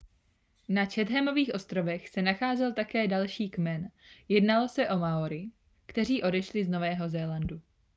na chathamových ostrovech se nacházel také další kmen jednalo se o maory kteří odešli z nového zélandu